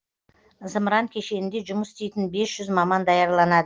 зымыран кешенінде жұмыс істейтін бес жүз маман даярланады